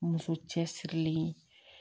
Muso cɛsirilen